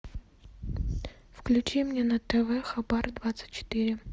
включи мне на тв хабар двадцать четыре